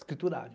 Escriturário.